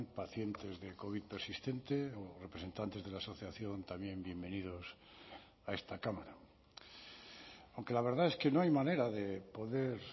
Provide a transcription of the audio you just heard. pacientes del covid persistente o representantes de la asociación también bienvenidos a esta cámara aunque la verdad es que no hay manera de poder